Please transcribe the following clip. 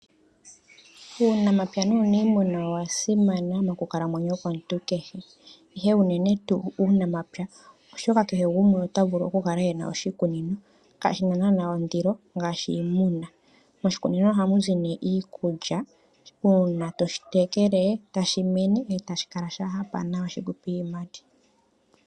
Uunamapya nuuniimuna owasimana monkalamwenyo yomuntu ihe unene tuu uunamapya, oshoka kehe gumwe otavulu okukala ena oshikunino . Kashina naana ondilo ngaashi iimuna . Moshikunino ohamu zi iikulya . Uuna toshi tekele, tashi mene ohashi kala sha hapa nawa shikupe iiyimati.